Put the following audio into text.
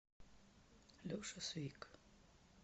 леша свик